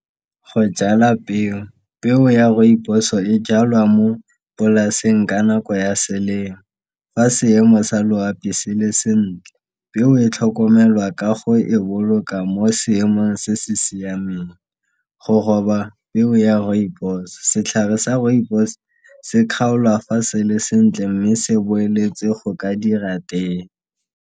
Go jala peo, peo ya rooibos e jalwa mo polaseng ka nako ya selemo fa seemo sa loapi se le sentle. Peo e tlhokomelwa ka go e boloka mo seemong se se siameng. Go roba peo ya rooibos, setlhare sa rooibos se kgaolwa fa se le sentle mme se boeletse go ka dira tee.